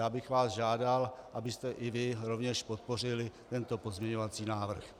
Já bych vás žádal, abyste i vy rovněž podpořili tento pozměňovací návrh.